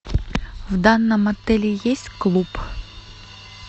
в данном отеле есть клуб